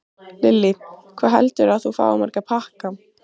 Lillý: Hvað heldurðu að þú fáir marga pakka?